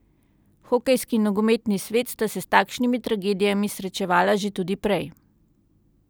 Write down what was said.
Hokejski in nogometni svet sta se s takšnimi tragedijami srečevala že tudi prej.